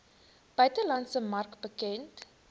buitelandse mark bekend